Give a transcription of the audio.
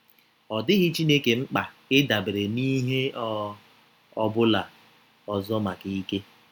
Ọ dịghị Chineke mkpa ịdabere n’ihe ọ ọbụla ọzọ maka ike.